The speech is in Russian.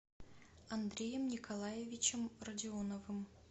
андреем николаевичем родионовым